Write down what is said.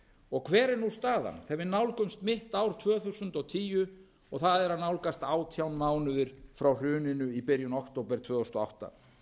staðan þegar við nálgumst mitt ár tvö þúsund og tíu og það er að nálgast átján mánuðir frá hruninu í byrjun október tvö þúsund og átta